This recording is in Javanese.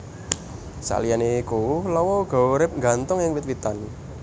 Saliyané iku lawa uga urip nggantung ing wit witan